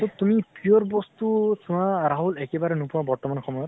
তʼ তুমি pure বস্তু চোৱা ৰাহুল তুমি একেবাৰে নোপোৱা বৰ্তমান সময়ত